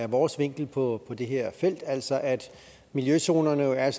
vores vinkel på det her felt altså at miljøzonerne jo er